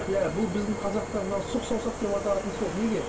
иә бұл біздің қазақта мынау сұқ саусақ деп аталатын сол неге